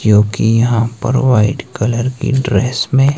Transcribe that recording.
क्योंकि यहां पर वाइट कलर की ड्रेस में--